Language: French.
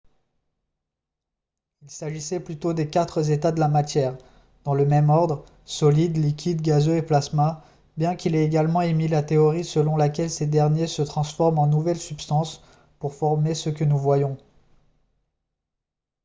il s'agissait plutôt des quatre états de la matière dans le même ordre : solide liquide gazeux et plasma bien qu'il ait également émis la théorie selon laquelle ces derniers se transforment en nouvelles substances pour former ce que nous voyons